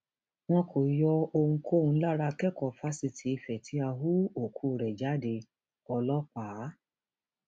wọn kò yọ ohunkóhun lára akẹkọọ fásitì ife tí a hú òkú rẹ jádeọlọpàá